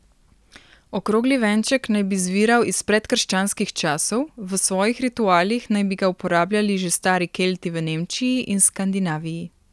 Okrogli venček naj bi zviral iz predkrščanskih časov, v svojih ritualih naj bi ga uporabljali že stari Kelti v Nemčiji in Skandinaviji.